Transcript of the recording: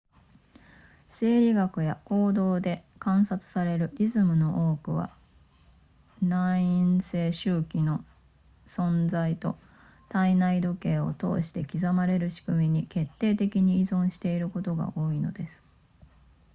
生理学や行動で観察されるリズムの多くは内因性周期の存在と体内時計を通して刻まれるしくみに決定的に依存していることが多いのです